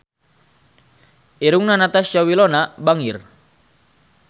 Irungna Natasha Wilona bangir